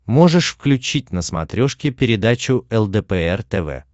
можешь включить на смотрешке передачу лдпр тв